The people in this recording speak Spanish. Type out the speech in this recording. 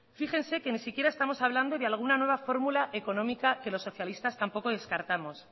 fíjense que ni siquiera estamos hablando de alguna nueva fórmula económica que los socialistas tampoco descartamos